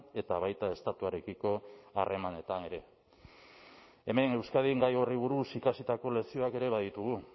eta baita estatuarekiko harremanetan ere hemen euskadin gai horri buruz ikasitako lekzioak ere baditugu